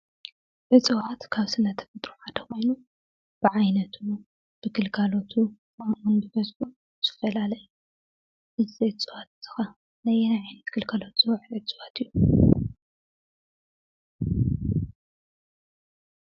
እፅዋት ካብ ስነ ተፈጥሮ ሓደ ኾይኑ ብዓይነቱ፣ ብግልጋለቱ ዝፈላለ እዩ። እዚ እፅዋት እዚ ኸ ነይናይ ዓይነት ግልጋሎት ዝውዕል እፅዋት እዩ?